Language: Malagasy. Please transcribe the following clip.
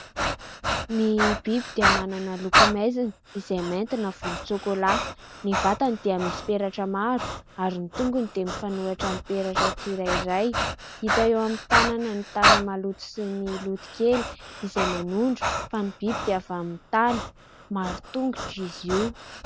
Ny biby dia manana loko maizina izay mainty na volontsokola. Ny vatany dia misy peratra maro ary ny tongony dia mifanohitra amin'ny peratra tsirairay. Hita eo amin'ny tanana ny tany maloto sy ny loto kely izay manondro fa ny biby dia avy amin'ny tany, maro tongotra izy io.